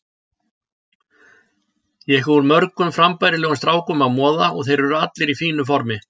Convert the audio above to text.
Ég hef úr mörgum frambærilegum strákum að moða og þeir eru allir í fínu formi.